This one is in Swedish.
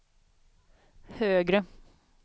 högre